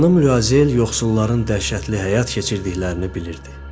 Xanım Luazel yoxsulların dəhşətli həyat keçirdiklərini bilirdi.